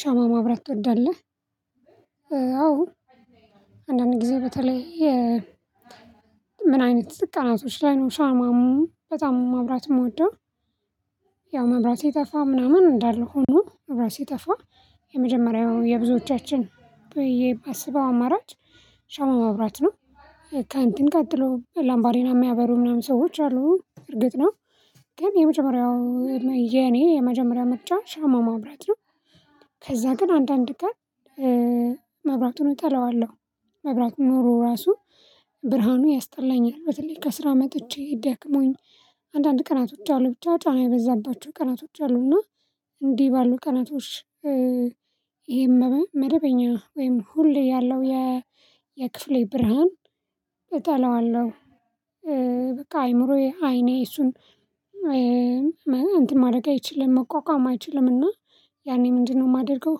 ሻማ ማብራት ትወዳለህ አዎ አንዳንድ ጊዜ በተለይ የ ምን አይነት ቀናቶች ላይ ነው ሻማ በጣም ማብራት የምወደው። ያው መብራት የጠፋ ምናምን እንዳለ ሆኖ መብራት ሲጠፋ የመጀመሪያው የብዙዎቻችን ብዬ ባስበው አማራጭ ሻማ ማብራት ነው። ከእንትን ቀጥሎ ላምባሬና የሚያበሩ ምናምን ሰዎች አሉ እርግጥ ነው። ግን የመጀመሪያው የኔ የመጀመሪያ መጫ ሻማ ማብራት ነው። ከዛ ግን አንዳንድ ቀን መብራቱን እጠላዋለሁ። መብራቱ ኖሮ ራሱ ብርሃኑ ያስጠላኛል በተለይ ከስራ መጥቼ ደክሞኝ አንዳንድ ቀናቶች አሉ ብቻው ጫና የበዛባቸው ቀናቶች አሉ እና እንዲህ ባሉ ቀናቶች ይሄ መደበኛ ወይም ሁሌ ያለው የክፍሌ ብርሃን እጠላዋለሁ። በቃ አይምሮዬ አይኔ እሱን እንትን ማድረግ አይችልም መቋቋም አይችልም። እና ያኔ ምንድነው የማደርገው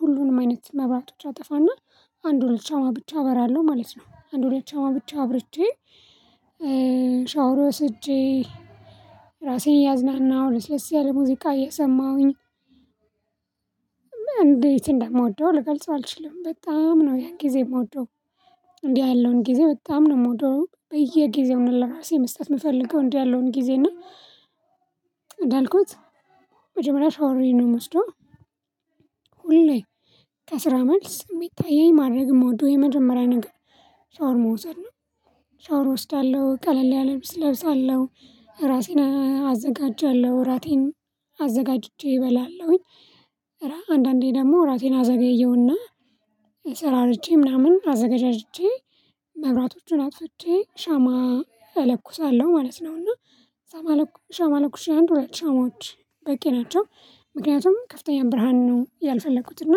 ሁሉንም አይነት መብራቶች አጠፋና አንድ ሁለት ሻማ ብቻ አበራለሁ ማለት ነው። አንድ ሁለት ሻማ ብቻ አብርቼ ሻወር ወስጄ ራሴን ያዝናናው ለስለስ ያለ ሙዚቃ እየሰማሁኝ። እንዴት እንደምወደው ልገልጸው አልችልም በጣም ነው ያን ጊዜ የምወደው። እንዲህ ያለውን ጊዜ በጣም ነው የምወደው በየጊዜው ለራሴ መስጠት የምፈልገው እንዲህ ያለውን ጊዜ እና። እንዳልኩት መጀመሪያ ሻወሬ ነው የምወስደው። ሁሌ ከስራ መልስ የሚታየኝ ማድረግ የምወደው የመጀመሪያ ነገር ሻወር መውሰድ ነው። ሻወር እወስዳለሁ ቀለል ያለ ልብስ እለብሳለሁ ራሴን አዘጋጃለሁ እራቴን አዘጋጅቼ እበላለሁኝ። ኧረ አንዳንዴ ደግሞ ራሴን አዘገየውና ሰራርቼ ምናምን አዘጋጅቼ መብራቶቹን አጥፍቼ ሻማ እለኩሳለሁ ማለት ነውና። እና ሻማ ሻማ ለኩሼ አንድ ሁለት ሻማዎች በቂ ናቸው። ምክንያቱም ከፍተኛ ብርሃን ነው ያልፈለኩት እና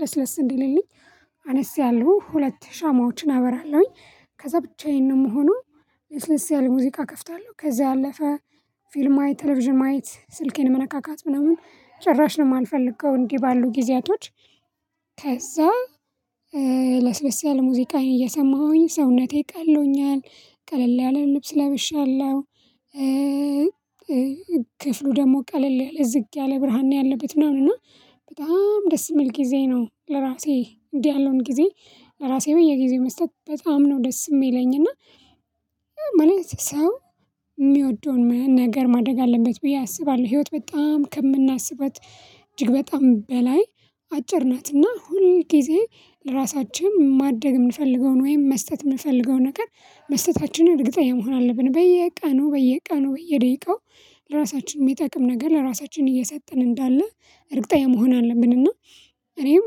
ለስለስ እንዲልልኝ አነስ ያሉ ሁለት ሻማዎችን አበራለሁኝ ከዛ ብቻዬን ነው የምሆነው። ለስለስ ያለ ሙዚቃ እከፍታለሁ ከዛ ያለፈ ፊልም ማየት ቴሌቪዥን ማየት ስልኬን መነካካት ምናምን ጭራሽ ነው የማልፈልገው እንዲህ ባሉ ጊዜያቶች። ከዛ ለስለስ ያለ ሙዚቃዬ እየሰማሁኝ ሰውነቴ ቀሎኛል ቀለል ያለ ልብስ ለበሻለሁ። ክፍሉ ደግሞ ቀለል ያለ ዝግ ያለ ብርሃን ያለበት ነውና በጣም ደስ የሚል ጊዜ ነው። ለራሴ እንዲህ ያለውን ጊዜ ለራሴ በየጊዜው መስጠት በጣም ነው ደስ የሚለኝ ሰው የሚወደውን ምንም ነገር ማድረግ አለበት ብዬ አስባለሁ። ህይወት በጣም ከምናስባት እጅግ በጣም በላይ አጭር ናትና ሁል ጊዜ ለራሳችን ማድረግ የምንፈልገውን ወይም መስጠት የምንፈልገውን ነገር መስጠታችንን እርግጠኛ መሆን አለብን በየቀኑ በየቀኑ በየደቂቃው ለራሳችን የሚጠቅም ነገር ለራሳችን እየሰጠን እንዳለ እርግጠኛ መሆን አለብንና። እኔም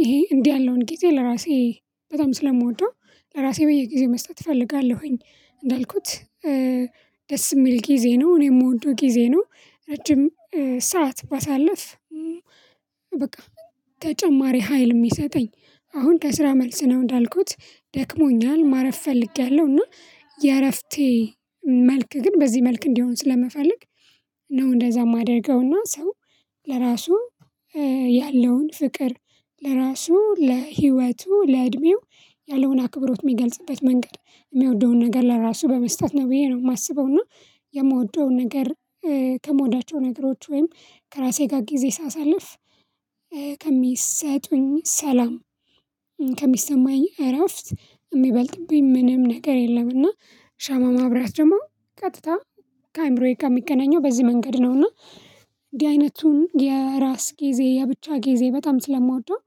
ይሄ እንዲህ ያለውን ጊዜ ለራሴ በጣም ስለምወደው ለራሴ በየጊዜው መስጠት እፈልጋለሁኝ። እንዳልኩት ደስ የሚል ጊዜ ነው እኔ የምወደው ጊዜ ነው። ረጅም ሰዓት ባሳለፍ በቃ ተጨማሪ ሀይል የሚሰጠኝ አሁን ከስራ መልስ ነው እንዳልኩት ደክሞኛል ማረፍ ፈልጌያለሁ። እና የእረፍቴ መልክ ግን በዚህ መልክ እንዲሆን ስለምፈለግ ነው እንደዛ የማደርገውና ሰው ለራሱ ያለውን ፍቅር ለራሱ ለህይወቱ ለእድሜው ያለሆነ አክብሮት የሚገልጽበት መንገድ የሚወደውን ነገር ለራሱ በመስጠት ነው ብዬ ነው የማስበው። እና የምወደውን ነገር ከምወዳቸው ነገሮች ወይም ከራሴ ጋር ጊዜ ሳሳልፍ ከሚሰጡኝ ሰላም ከሚሰማኝ እረፍት የሚበልጥብኝ ምንም ነገር የለም። እና ሻማ ማብራት ደግሞ ቀጥታ ከአእምሮዬ ጋር የሚገናኘው በዚህ መንገድ ነው። እና እንዲህ አይነቱን የራስ ጊዜ የብቻ ጊዜ በጣም ስለማወደው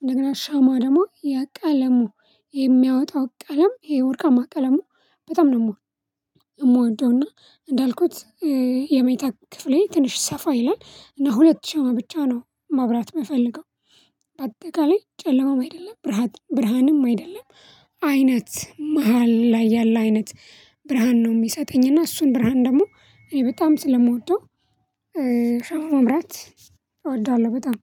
እንደገና ሻማ ደግሞ የቀለሙ የሚያወጣው ቀለም ይሄ ወርቃማ ቀለሙ በጣም ነው። የምወደው እና እንዳልኩት የመኝታ ክፍሌ ትንሽ ሰፋ ይላል እና ሁለት ሻማ ብቻ ነው ማብራት የምፈልገው። በአጠቃላይ ጨለማም አይደለም ብርሃንም አይደለም አይነት መሃል ላይ ያለ አይነት ብርሃን ነው የሚሰጠኝ እና እሱን ብርሃን ደግሞ እኔ በጣም ስለምወደው። ሻማ ማብራት እወደዋለሁ በጣም